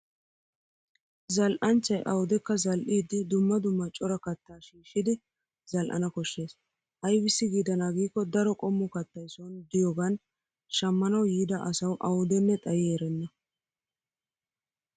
Zal'anchchay awudekka zal'iiddi dumma dumma cora kattaa shiishshidi zal'ana koshshes. Aybissi giidanaa giikko daro qommo kattay son diyoogan shammanawu yiida asawu awudenne xayi erenna.